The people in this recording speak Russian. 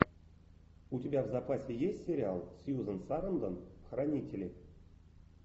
у тебя в запасе есть сериал с сьюзен сарандон хранители